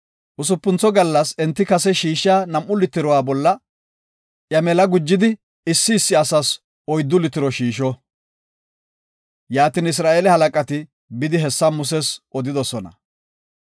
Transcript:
Usupuntho gallas enti kase shiishiya nam7u litiruwa bolla iya mela gujidi issi issi asas oyddu litiro shiisho. Yaatin Isra7eele halaqati bidi hessa Muses odidosona.